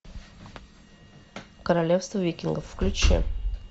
королевство викингов включи